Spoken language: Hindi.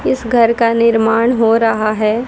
इस घर का निर्माण हो रहा है।